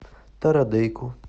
тарадейко